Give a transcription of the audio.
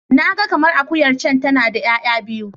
Na ga kamar akuyar can tana da 'ya'ya biyu.